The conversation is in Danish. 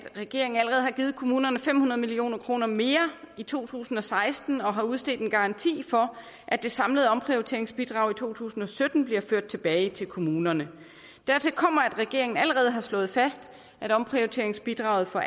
regeringen allerede har givet kommunerne fem hundrede million kroner mere i to tusind og seksten og har udstedt en garanti for at det samlede omprioriteringsbidrag i to tusind og sytten bliver ført tilbage til kommunerne dertil kommer at regeringen allerede har slået fast at omprioriteringsbidraget for